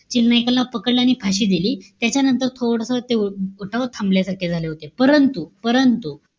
Chill नाइकाला पकडलं आणि फाशी दिली. त्याच्यानंतर थोडस ते उठाव थांबल्यासारखे झाले होते. परंतु, परंतु,